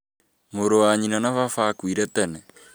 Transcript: Mũrũ wa nyina na baba akuire tene